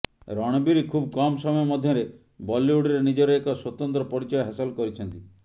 ରଣବୀର ଖୁବ୍ କମ୍ ସମୟ ମଧ୍ୟରେ ବଲିଉଡରେ ନିଜର ଏକ ସ୍ୱତନ୍ତ୍ର ପରିଚୟ ହାସଲ କରିଛନ୍ତି